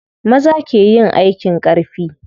Maza ke yin aikin ƙarfi.